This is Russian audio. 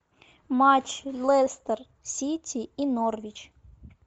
матч лестер сити и норвич